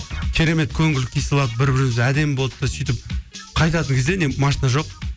керемет көңіл күй сыйлап бір бірімізге әдемі болды да сөйтіп қайтатын кезде не машина жоқ